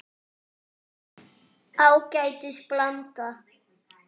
Ágætis blanda.